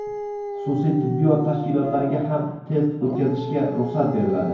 Xususiy tibbiyot tashkilotlariga ham test o‘tkazishga ruxsat beriladi.